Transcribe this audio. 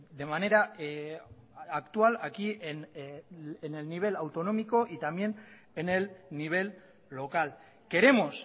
de manera actual aquí en el nivel autonómico y también en el nivel local queremos